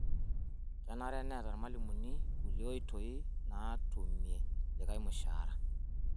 Kenare neeta lmalimuni kulie oitoi naatumi likai mushaara